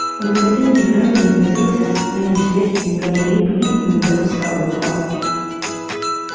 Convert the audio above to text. он никогда не играл и не возился со своими сверстниками лип лип не допускал этого